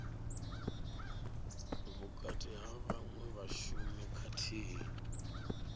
vhukati ha vhaṅwe vhashumi khathihi